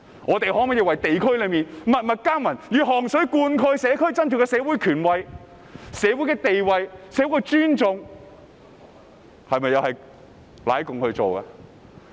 我們為地區默默耕耘，以汗水灌溉社區，在社會上取得地位和尊重，這都是為"奶共"而做的嗎？